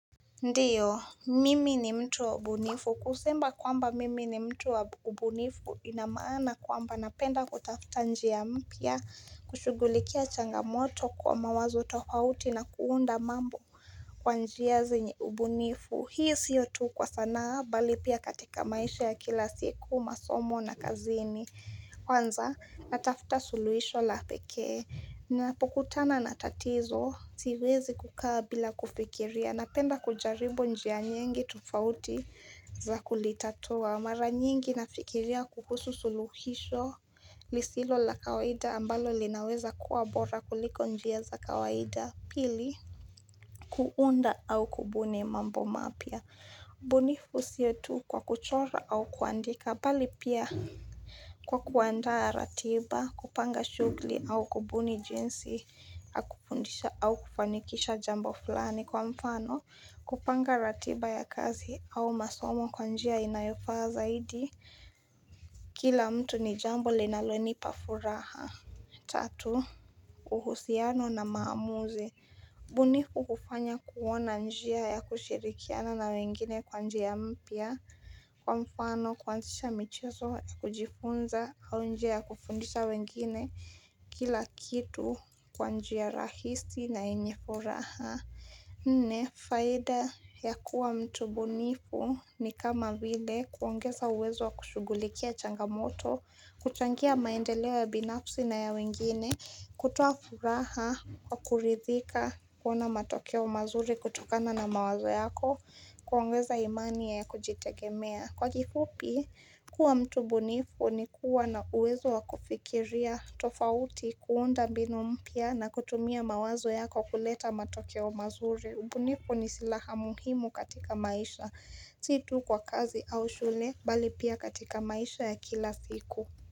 Ndiyo, mimi ni mtu wa ubunifu. Kusema kwamba mimi ni mtu wa ubunifu inamaana kwamba napenda kutafta njia mpya kushugulikia changamoto kwa mawazo tofauti na kuunda mambo kwa njia zenye ubunifu. Hii sio tu kwa sanaa, bali pia katika maisha ya kila siku, masomo na kazini. Kwanza natafuta suluhisho la pekee napokutana na tatizo siwezi kukaa bila kufikiria na penda kujaribu njia nyingi tofauti za kulitatua. Mara nyingi nafikiria kuhusu suluhisho lisilo la kawaida ambalo linaweza kuwa bora kuliko njia za kawaida pili kuunda au kubuni mambo mapya. Bunifu siyo tu kwa kuchora au kuandika bali pia kwa kuandaa ratiba kupanga shugli au kubuni jinsi akupundisha au kufanikisha jambo fulani kwa mfano kupanga ratiba ya kazi au masomo kwa njia inayofa zaidi Kila mtu ni jambo linalonipa furaha Tatu, uhusiano na maamuzi bunifu kufanya kuona njia ya kushirikiana na wengine kwa njia ya mpya kwa mfano kuanzisha michezo ya kujifunza au njia ya kufundisha wengine kila kitu kwa njia rahisi na yenye furaha nne faida ya kuwa mtu bunifu ni kama vile kuongeza uwezo wa kushugulikia changamoto kuchangia maendeleo ya binafsi na ya wengine kutoa furaha kwa kuridhika kuona matokeo mazuri kutokana na mawazo yako kuongeza imani ya kujitegemea Kwa kifupi, kuwa mtu bunifu ni kuwa na uwezo wa kufikiria tofauti kuunda binu mpya na kutumia mawazo yako kuleta matokeo mazuri ubunifu ni silaha muhimu katika maisha, situ kwa kazi au shule, bali pia katika maisha ya kila siku.